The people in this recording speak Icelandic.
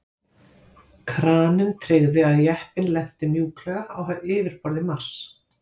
Kraninn tryggði að jeppinn lenti mjúklega á yfirborði Mars.